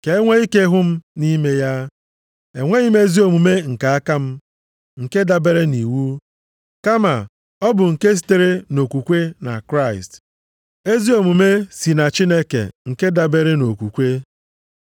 Ka e nwee ike hụ m nʼime ya. Enweghị m ezi omume nke aka m, nke dabere nʼiwu, kama ọ bụ nke sitere nʼokwukwe na Kraịst, ezi omume si na Chineke nke dabeere nʼokwukwe.